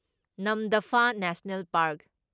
ꯅꯝꯗꯐꯥ national park